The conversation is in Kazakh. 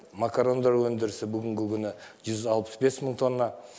макарондар өндірісі бүгінгі күні жүз алпыс бес мың тонна